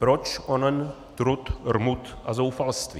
Proč onen trud, rmut a zoufalství.